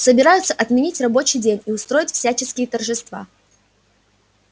собираются отменить рабочий день и устроить всяческие торжества